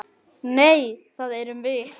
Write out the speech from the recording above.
Nei, það erum við.